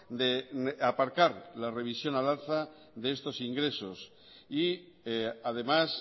de aparcar la revisión al alza de estos ingresos y además